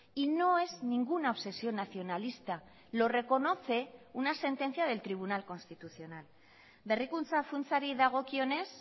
y no es ninguna obsesión nacionalista lo reconoce una sentencia del tribunal constitucional berrikuntza funtsari dagokionez